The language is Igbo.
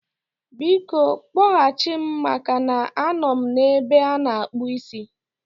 Biko, kpọghachi m maka na anọ m n'ebe ana-akpụ ísí